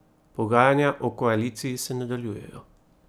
Pogajanja o koaliciji se nadaljujejo.